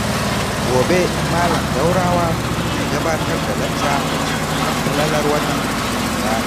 Gobe Malam Daurawa zai gabatar da lacca a kan falalar watan Ramadana.